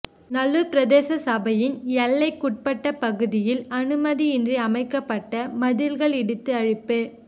நல்லூர் பிரதேச சபையின் எல்லைக் குட்பட்ட பகுதியில் அனுமதியின்றி அமைக்கப்பட்ட மதில்கள் இடித்து அழிப்பு